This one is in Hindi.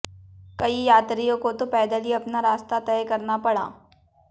कई यात्रियों को तो पैदल ही अपना रास्ता तय करना पड़ा